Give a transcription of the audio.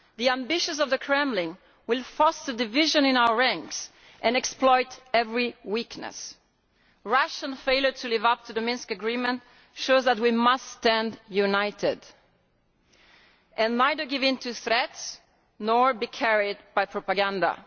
The ambitions of the Kremlin will foster division in our ranks and exploit every weakness. Russian failure to live up to the Minsk agreement shows that we must stand united and neither give into threats nor be carried by propaganda.